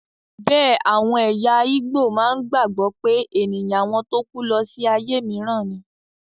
Bẹ́ẹ̀ àwọn ẹ̀yà ígbò má ń gbàgbọ́ pé ènìyàn àwọn tó kú lọ sí ayé mìíràn ni